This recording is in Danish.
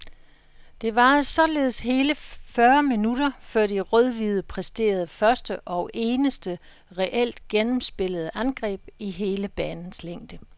Det varede således hele fyrre minutter før de rødhvide præsterede første, og eneste, reelt gennemspillede angreb i hele banens længde.